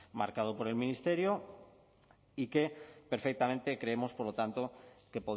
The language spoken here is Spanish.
marcado por el ministerio y que perfectamente creemos por lo tanto que